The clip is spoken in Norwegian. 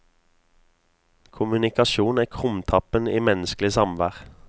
Kommunikasjon er krumtappen i menneskelig samvær.